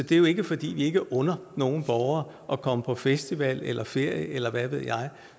det er jo ikke fordi vi ikke under nogen borgere at komme på festival eller ferie eller hvad ved jeg